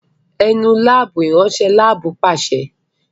É Nu laabu! iranṣẹ lab paṣẹ